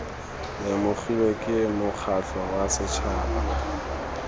lemogilwe ke mokgatlho wa setšhaba